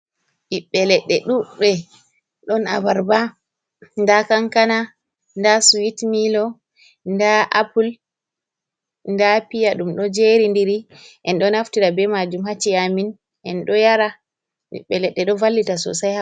Ɓiɓɓe leɗɗe ɗuɗɗi. Ɗon abarba, nda kankana, nda swit milo, nda appul, nda piya ɗum ɗo jeri ndiri en ɗo naftira be majum ha ci'e amin, enɗo yara. Ɓiɓɓe leɗɗe ɗo vallita sosai ha ɓandu amin.